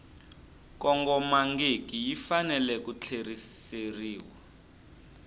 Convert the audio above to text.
kongomangiki yi fanele ku tlheriseriwa